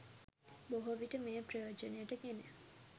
බොහෝවිට මෙය ප්‍රයෝජනයට ගෙන